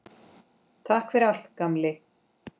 Takk fyrir allt, gamli.